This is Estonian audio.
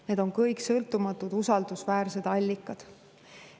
Need on kõik sõltumatud usaldusväärsed allikad.